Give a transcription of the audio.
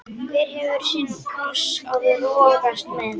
Hver hefur sinn kross að rogast með.